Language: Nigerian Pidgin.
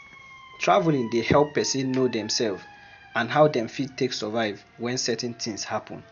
Travelling dey help person know themself and how dem fit take survive when certain tins happen